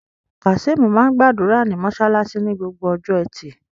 Kazeem máa ń gbàdúrà ní mosálásí ní Gbogbo ọjọ́ ẹtì